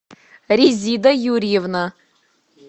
резида юрьевна